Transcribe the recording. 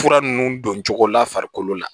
Fura nunnu don cogo la farikolo la